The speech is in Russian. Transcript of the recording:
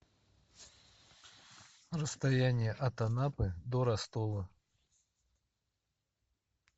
расстояние от анапы до ростова